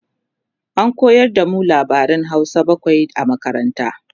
an koyar da mu labaran Hausa bakwai a makaranta